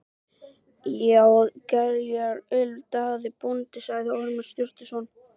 Ég á gerjað öl, Daði bóndi, sagði Ormur Sturluson.